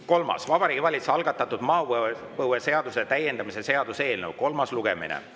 Kolmas on Vabariigi Valitsuse algatatud maapõueseaduse täiendamise seaduse eelnõu kolmas lugemine.